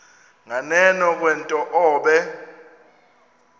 nganeno kwento obe